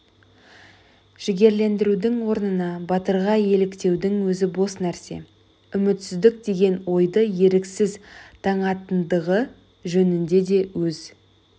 жігерлендірудің орнына батырға еліктеудің өзі бос нәрсе үмітсіздік деген ойды еріксіз таңатындығы жөнінде де өз